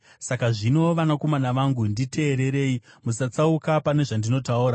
Saka zvino, vanakomana vangu, nditeererei; musatsauka pane zvandinotaura.